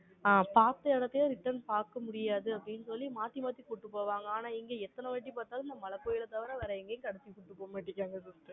ஆங், பார்த்த இடத்தையே, return பார்க்க முடியாது, அப்படின்னு சொல்லி, மாத்தி, மாத்தி கூட்டிட்டு போவாங்க. ஆனால், இங்க எத்தனை வாட்டி பார்த்தாலும், இந்த மழை கோயிலை தவிர, வேற எங்கயும் கடைசி வரைக்கும் கூட்டிட்டு போக மாட்டேங்குறாங்க